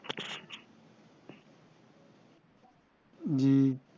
হম